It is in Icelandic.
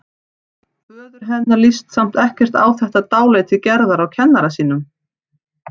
Föður hennar líst samt ekkert á þetta dálæti Gerðar á kennara sínum.